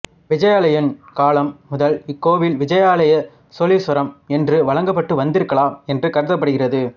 விஜயாலயன் காலம் முதல் இக்கோவில் விஜயாலய சோழீஸ்வரம் என்று வழங்கப்பட்டு வந்திருக்கலாம் என்று கருதப்படுகிறது